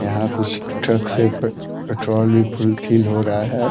यहाँ कुछ ट्रक्स है प पेट्रोल भी फुल फील हो रहा है।